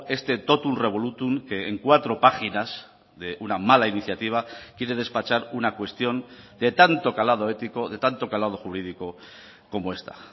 este totum revolutum que en cuatro páginas de una mala iniciativa quiere despachar una cuestión de tanto calado ético de tanto calado jurídico como esta